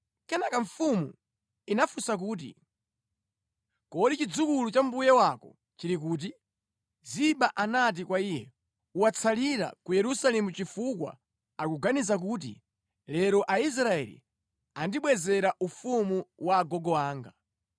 Kenaka mfumu inafunsa kuti, “Kodi chidzukulu cha mbuye wako chili kuti?” Ziba anati kwa iye, “Watsalira ku Yerusalemu chifukwa akuganiza kuti, ‘Lero Aisraeli andibwezera ufumu wa agogo anga.’ ”